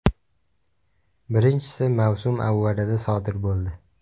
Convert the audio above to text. Birinchisi mavsum avvalida sodir bo‘ldi.